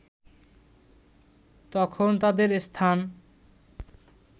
তখন তাদের স্থান